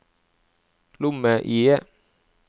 lomme-IE